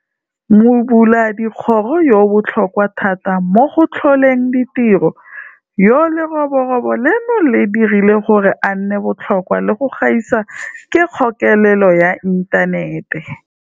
Mobuladikgoro yo o botlhokwa thata mo go tlholeng ditiro, yo leroborobo leno le dirileng gore a nne botlhokwa le go gaisa, ke kgokelelo ya inthanete.